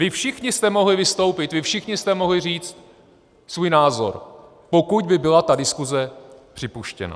Vy všichni jste mohli vystoupit, vy všichni jste mohli říct svůj názor, pokud by byla ta diskuze připuštěna.